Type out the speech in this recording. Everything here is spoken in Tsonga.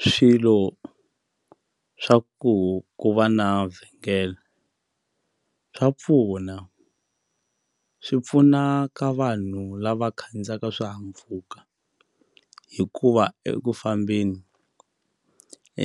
Ku swilo swa ku ku va na vhengele swa pfuna swi pfuna ka vanhu lava khandziyaka swihahampfhuka hikuva eku fambeni